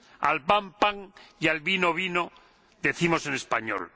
Al pan, pan y al vino, vino, decimos en español.